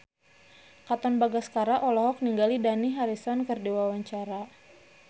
Katon Bagaskara olohok ningali Dani Harrison keur diwawancara